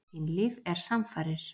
Kynlíf er samfarir.